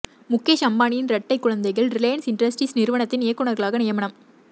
முகேஷ் அம்பானியின் இரட்டை குழந்தைகள் ரிலையன்ஸ் இண்டஸ்ட்ரீஸ் நிறுவனத்தின் இயக்குநர்களாக நியமனம்